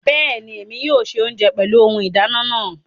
Bẹẹni, Èmi yóò ṣe ounjẹ pẹlu ohùn ìdáná naa